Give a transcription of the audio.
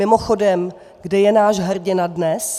Mimochodem, kde je náš hrdina dnes?